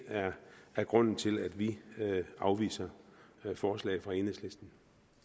er grunden til at vi afviser forslaget fra enhedslisten